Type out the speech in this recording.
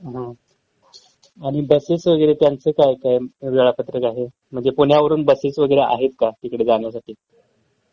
हं आणि बसेस वगैरे त्यांचं काय काय वेळापत्रक आहे? म्हणजे पुण्यावरून बसेस वगैरे आहेत का तिकडं जाण्यासाठी?